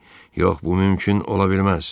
Yox, bu mümkün ola bilməz.